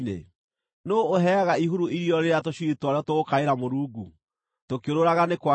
Nũũ ũheaga ihuru irio rĩrĩa tũcui twarĩo tũgũkaĩra Mũrungu tũkĩũrũũraga nĩ kwaga irio?